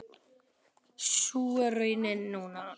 Sú er raunin núna.